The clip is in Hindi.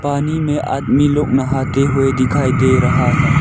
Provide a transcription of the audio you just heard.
पानी में आदमी लोग नहाते हुए दिखाई दे रहा है।